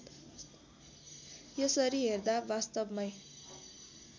यसरी हेर्दा वास्तवमै